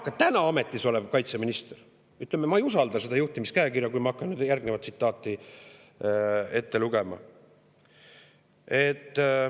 Ka täna ametis oleva kaitseministri, ütleme, juhtimiskäekirja ma ei usalda, võin öelda, hakates järgnevat tsitaati ette lugema.